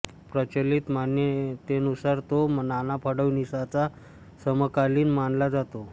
प्रचलित मान्यतेनुसार तो नाना फडणविसाचा समकालीन मानला जातो